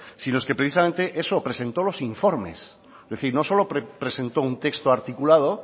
que precisamente eso presentó los informes es decir no solo presentó un texto articulado